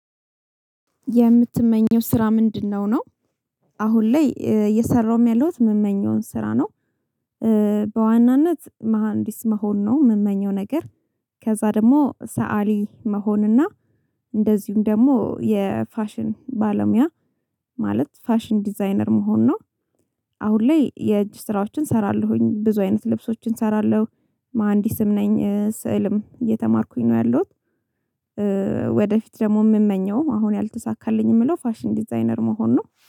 የምትመኘው ስራ ምንድነው ነውምመኘውንላይ እየሰራሁም ያለሁት የእምመኘውን ስራ ነው በዋናነት መሃንዲስ መሆን ነው እምመኘው ነገር ከዛ ደግሞ ሰአሊ መሆንና እንደዚሁም ደግሞ የፋሽን ባለሙያ ማለት ፋሽን ዲዛይነር መሆን ነው አሁን ላይ የእጅ ስራዎችን እሰራለሁኝ ብዙ አይነት ልብሶችን እሰራለሁ መሀንዲስም ነኝ ስዕልም እየተማርኩኝ ነው ያለሁት ወደፊት ደግሞ የምመኘው አሁን ያልተሳካልኝ የምለው ፋሽን ዲዛይነር መሆን ነው።